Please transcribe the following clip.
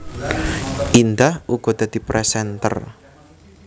Indah uga dadi presenter